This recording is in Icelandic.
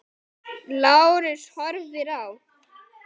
Lárus horfir á.